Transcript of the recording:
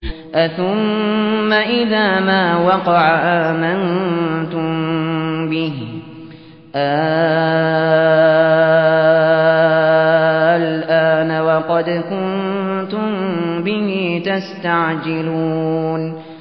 أَثُمَّ إِذَا مَا وَقَعَ آمَنتُم بِهِ ۚ آلْآنَ وَقَدْ كُنتُم بِهِ تَسْتَعْجِلُونَ